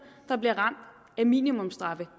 der bliver ramt af minimumsstraffe